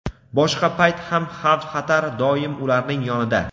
Boshqa payt ham xavf-xatar doim ularning yonida.